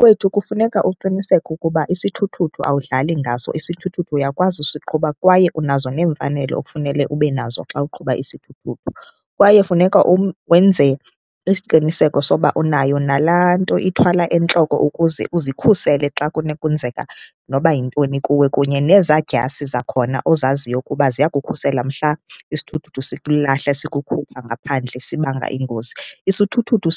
Kwethu kufuneka uqiniseke ukuba isithuthuthu awudlali ngaso, isithuthuthu uyakwazi usiqhuba kwaye unazo neemfanelo okufanele ube nazo xa uqhuba isithuthuthu. Kwaye funeka wenze isiqiniseko soba unayo nalaa nto ithwalwa entloko ukuze uzikhusele xa kunokwenzeka noba yintoni kuwe, kunye neezaa dyasi zakhona ozaziyo ukuba ziyakukhusela mhla isithuthuthu sikulahla sikukhupha ngaphandle sibanga ingozi. Isithuthuthu